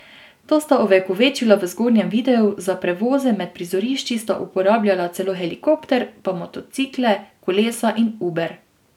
To sta ovekovečila v zgornjem videu, za prevoze med prizorišči sta uporabljala celo helikopter, pa motocikle, kolesa in Uber.